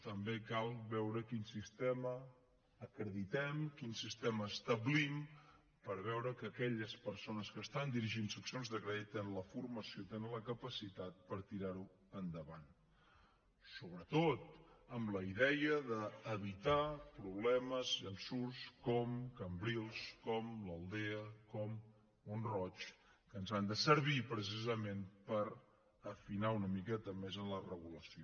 també cal veure quin sistema acreditem quin sistema establim per veure que aquelles persones que estan dirigint seccions de crèdit tenen la formació tenen la capacitat per tirar ho endavant sobretot amb la idea d’evitar problemes ensurts com cambrils com l’aldea com mont roig que ens han de servir precisament per afinar una miqueta més en la regulació